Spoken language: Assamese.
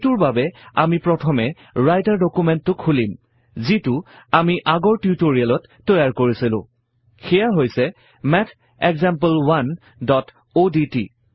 এইটোৰ বাবে প্ৰথমে আমি ৰাইটাৰ ডুকুমেন্টটো খুলিম যিটো আমি আগৰ টিউটৰিয়েলত তৈয়াৰ কৰিছিলো সেইয়া হৈছে mathexample1অডট